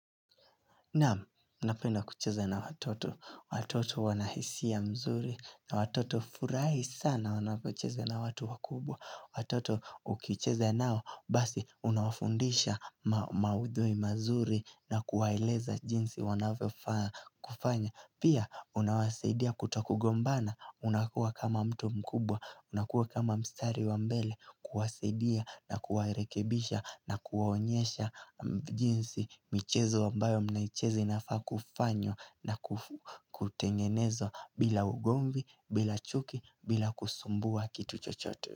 Naam, napenda kucheze na watoto. Watoto wanahisia nzuri na watoto hufurahi sana wanapocheze na watu wakubwa. Watoto ukicheza nao basi unawafundisha maudhui mazuri na kuwaeleza jinsi wanavyo faa kufanya. Pia, unawasidia kutokugombana, unakuwa kama mtu mkubwa, unakuwa kama mstari wa mbele, kuwasidia na kuwarekebisha na kuwaonyesha mjinsi michezo wambayo mnaichezi nafakufanywa na. Kutengeneza bila ugombi, bila chuki, bila kusumbua kitu chochote.